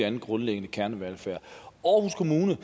end grundlæggende kernevelfærd aarhus kommune